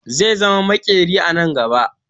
Zai zama makeri a nan gaba